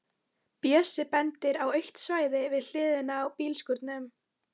Bjössi bendir á autt svæði við hliðina á bílskúrunum.